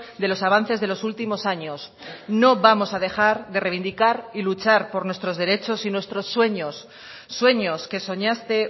de los avances de los últimos años no vamos a dejar de reivindicar y luchar por nuestros derechos y nuestros sueños sueños que soñaste